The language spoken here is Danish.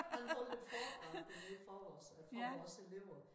Han holdt et foredrag dernede i forgårs for vores elever